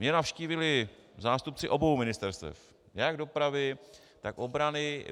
Mě navštívili zástupci obou ministerstev, jak dopravy, tak obrany.